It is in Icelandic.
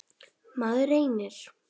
Maður reynir.